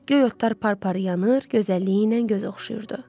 Göy otlar par-par yanır, gözəlliyi ilə göz oxşayırdı.